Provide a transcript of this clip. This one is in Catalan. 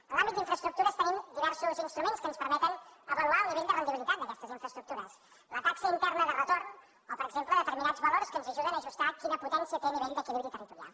en l’àmbit d’infraestructures tenim diversos instruments que ens permeten avaluar el nivell de rendibilitat d’aquestes infraestructures la taxa interna de retorn o per exemple determinats valors que ens ajuden a ajustar quina potència té a nivell d’equilibri territorial